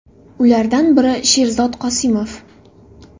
Ulardan biri Sherzod Qosimov.